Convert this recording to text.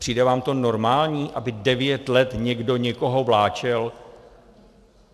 Přijde vám to normální, aby devět let někdo někoho vláčel?